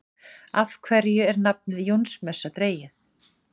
Af hverju er nafnið Jónsmessa dregið?